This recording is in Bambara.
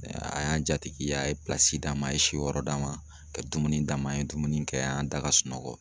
A y'an jatigi ye a ye d'a ma, a ye si yɔrɔ d'a ma, ka dumuni d'a ma an ye dumuni kɛ an y'an da ka sunɔgɔ.